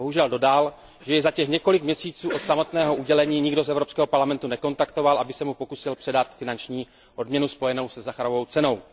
Bohužel dodal, že jej za těch několik měsíců od samotného udělení nikdo z Evropského parlamentu nekontaktoval, aby se mu pokusil předat finanční odměnu spojenou se Sacharovovou cenou.